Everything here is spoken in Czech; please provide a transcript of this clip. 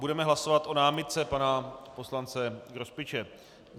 Budeme hlasovat o námitce pana poslance Grospiče.